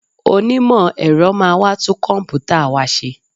Onímọ̀ ẹ̀rọ máa wá tún kọ̀m̀pútà wa ṣe